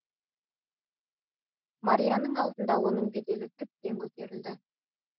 марияның алдында оның беделі тіптен көтерілді